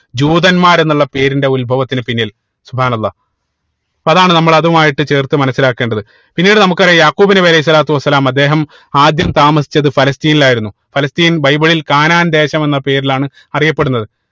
ജൂതന്മാർ എന്നുള്ള പേരിന്റെ ഉത്ഭവത്തിന്റെ പിന്നിൽ അപ്പൊ അതാണ് നമ്മള് അതുമായിട്ട് ചേർത്ത് മനസിലാക്കേണ്ടത് പിന്നീട് നമുക്കറിയ യാഖൂബ് നബി അലൈഹി സ്വലാത്തു വസ്സലാമ അദ്ദേഹം ആദ്യം താമസിച്ചത് ഫലസ്‌തീനിൽ ആയിരുന്നു ഫലസ്തീൻ ബൈബിളിൽ കാനാൻ ദേശം എന്ന പേരിലാണ് അറിയപ്പെടുന്നത്